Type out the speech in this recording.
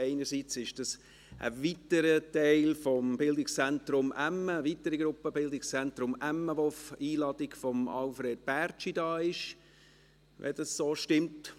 Einerseits ist dies eine weitere Gruppe des Bildungszentrums Emmen, die auf Einladung von Alfred Bärtschi hier ist – falls dies so stimmt?